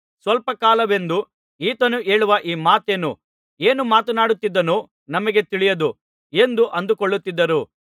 ಸ್ವಲ್ಪ ಕಾಲವೆಂದು ಈತನು ಹೇಳುವ ಈ ಮಾತೇನು ಏನು ಮಾತನಾಡುತ್ತಿದ್ದಾನೋ ನಮಗೆ ತಿಳಿಯದು ಎಂದು ಅಂದುಕೊಳ್ಳುತ್ತಿದ್ದರು